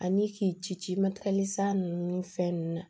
Ani k'i ci san ninnu ni fɛn nunnu na